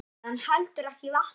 En stefnan heldur ekki vatni.